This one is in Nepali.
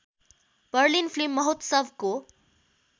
बर्लिन फिल्म महोत्सवको